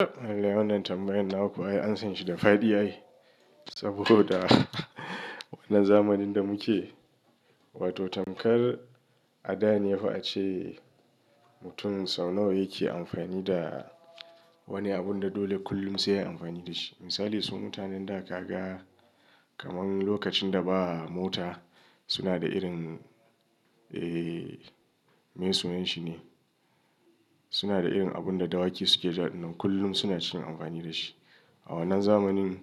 Wannan tambayan naku ai ansan shi da fadi ai. Saboda wannan zamanin da muke, wato tamkar a da ne fa a ce mutum sau nawa yake amfani da wani abun da dole kullum sai yayi amfani da shi. Misali, su mutanen da ka ga kamar lokacin da ba mota suna da irin, eh, me sunan shi ne? Suna da irin abun da dawaki suke ja, kullum suna cikin amfani da shi. A wannan zamanin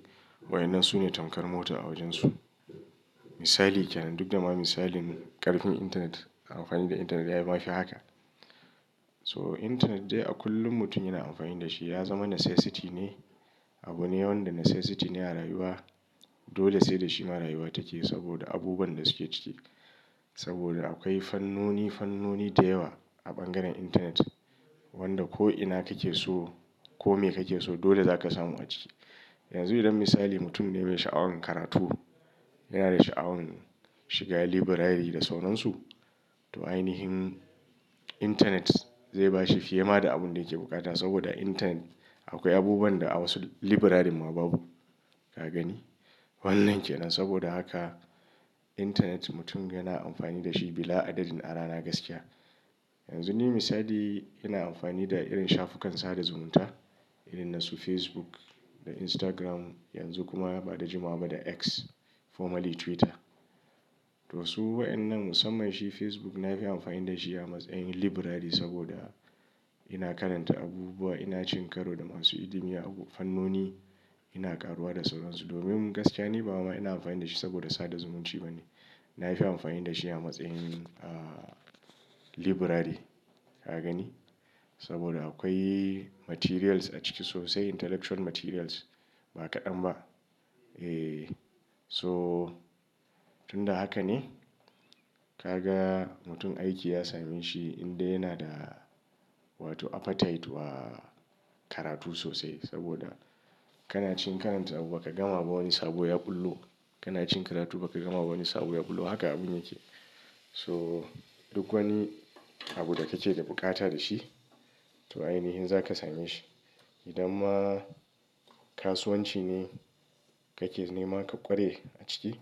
waɗannan su ne tamkar mota a wajansu. Misali kenan, duk da ma misalin ƙarfin intanet, amfani da intanet ya ma fi haka. So, intanet dai a kullum mutum yana amfani da shi. Ya zama necessity ne. Abu ne wanda necessity ne a rayuwa. Dole sai da shi ma rayuwa take saboda abubuwan da suke ciki. Saboda akwai fannoni, fannoni da yawa a bangaren intanet wanda ko ina kake so ko me kake so dole zaka samu a ciki. Yanzu idan misali mutum ne mai sha'awan karatu, yana da sha'awin shiga library da sauran su, to ainihin intanet zai bashi fiye ma da abun da yake bukata. Saboda a intanet akwai abubuwan da a wasu librarin ma babu, ka gani? Wannan kenan. Saboda haka intanet mutum yana amfani da shi bila adadin a rana gaskiya. Yanzu ni misali ina amfani da irin shafukan sada zumunta irin na su Facebook da Instagram. Yanzu kuma ba da jimawa ba da X, formerly Twitter. To wasu wa'inan musamman shi Facebook na fi amfani da shi a matsayin library saboda ina karanta abubuwa, ina cin karo da masu ilimi a fannoni, ina karuwa da sauran su. Domin gaskiya ni ba wai ma ina amfani da shi saboda sada zumunci ba ne. Na fi amfani da shi a matsayin, ah, library, ka gani? Saboda akwai materials a ciki sosai, intellectual materials ba kaɗan ba. Eh, so tun da haka ne ka ga mutum aiki ya same shi in dai yana da wato appetite wa karatu sosai. Saboda kana cikin karanta abu ba ka gama ba wani sabo ya ɓullo. Kana cin karatu ba ka gama ba wani sabo ya ɓullo. Haka abun yake. So, duk wani abu da kake da bukata da shi to ainihin zaka same shi. Idan ma kasuwanci ne kake nema ka kware a ciki,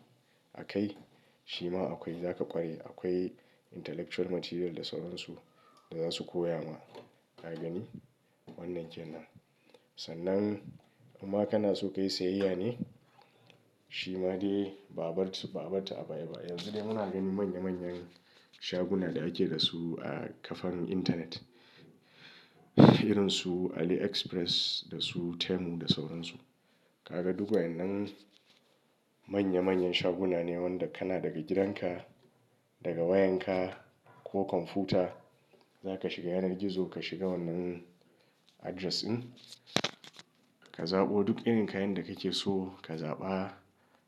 a kai shi ma akwai zaka ƙware. Akwai intellectual material da sauran su da za su koya ma, ka gani? Wannan kenan. Sannan inma kana so ka yi sayayya ne? Shi ma dai ba a barsu ba a barta a baya ba. Yanzu dai muna ganin manya manyan shaguna da ake da su a ƙafan intanet irin su AliExpress da su Temu da sauran su. Ka ga duk wa'inan manya manyan shaguna ne wanda kana daga gidanka, daga wayanka ko kwamfuta za ka shiga yanar gizo. Ka shiga wannan address din, ka zaɓo duk irin kayan da kake so ka zaɓa.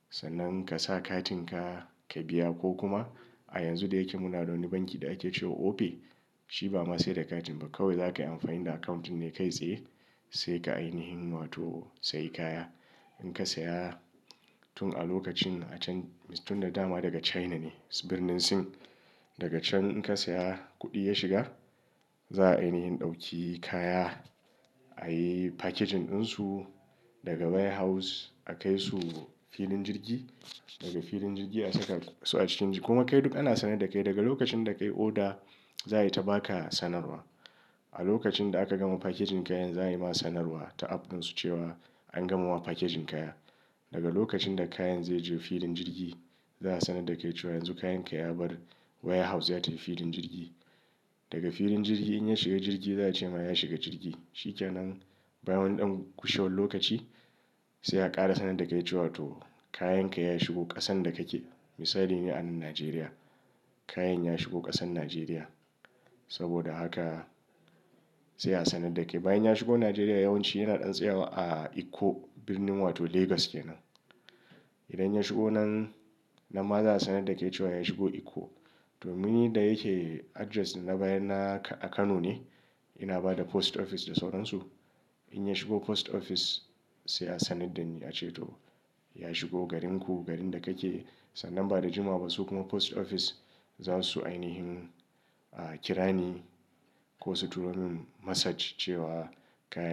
Sannan ka sa katin ka ka biya ko kuma a yanzu da yake muna da wani banki da ake cewa Opay. Shi ba ma sai da katin ba kawai za ka yi amfani da account ɗin ne kai tsaye. Sai ka ainihin wato sayi kaya. In ka saya tun a lokacin a can, tun da dama daga China ne, birnin Sin. Daga can in ka saya kuɗi ya shiga, za a ainihin ɗauki kaya, a yi packaging ɗin su daga warehouse a kai su filin jirgi. Daga filin jirgi a saka su a cikin, kuma kai duk ana sanar da kai. Daga lokacin da ka yi order za a yi ta ba ka sanarwa. A lokacin da aka gama packaging kayan za a yi ma sanarwa ta app ɗin su cewa an gama wa packaging kaya. Daga lokacin da kayan zai je filin jirgi, za a sanar da kai cewa yanzu kayan ka ya bar warehouse za tai filin jirgi. Daga filin jirgi in ya shiga jirgi za a ce ma ya shiga jirgi. Shi kenan bayan wani ɗan kushiwar lokaci sai a ƙara sanar da kai cewa to kayan ka ya shigo ƙasan da kake. Misali ne anan Najeriya. Kayan ya shigo ƙasan Najeriya. Saboda haka sai a sanar da kai. Bayan ya shigo Najeriya yawanci yana ɗan tsayawa a Ikko, birnin wato Lagos kenan. Idan ya shigo nan nan ma za a sanar da kai cewa ya shigo Ikko. Domin ni da yake address na baya na a Kano ne, ina ba da post office da sauran su. In ya shigo post office sai a sanar da ni a ce to ya shigo garin ku, garin da kake. Sannan ba da jimawa ba su kuma post office za su ainihin, ah, kira ni ko su turo min message cewa kayan--